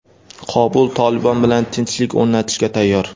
Qobul "Tolibon" bilan tinchlik o‘rnatishga tayyor.